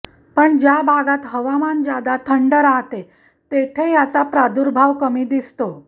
पण ज्या भागात हवामान जादा थंड राहते तेथे याचा प्रार्दुभाव कमी दिसतो